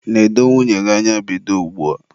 nedo nwunye gị anya bido ugbua!